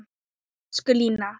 Elsku Lína.